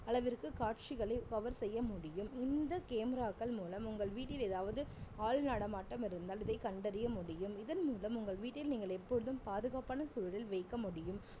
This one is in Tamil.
அளவிற்கு காட்சிகளை cover செய்ய முடியும் இந்த camera க்கள் மூலம் உங்கள் வீட்டில் ஏதாவது ஆள் நடமாட்டம் இருந்தால் இதை கண்டறிய முடியும் இதன் மூலம் உங்கள் வீட்டில் நீங்கள் எப்போதும் பாதுகாப்பான சூழலில் வைக்க முடியும்